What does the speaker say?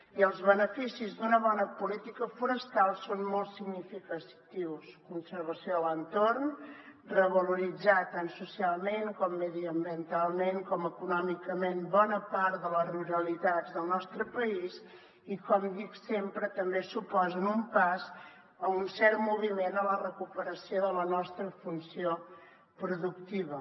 i els beneficis d’una bona política forestal són molt significatius conservació de l’entorn revaloritzar tant socialment com mediambientalment com econòmicament bona part de les ruralitats del nostre país i com dic sempre també suposen un pas o un cert moviment a la recuperació de la nostra funció productiva